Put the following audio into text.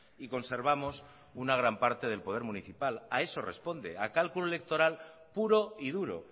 y conservamos una gran parte del poder municipal a eso responde a cálculo electoral puro y duro